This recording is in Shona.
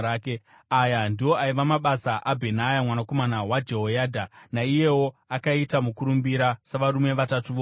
Aya ndiwo aiva mabasa aBhenaya mwanakomana waJehoyadha; naiyewo akaita mukurumbira savarume vatatu voumhare.